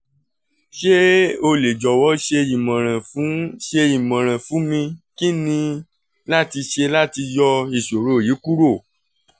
ṣe o le jọwọ ṣe imọran fun ṣe imọran fun mi kini lati ṣe lati yọ iṣoro yii kuro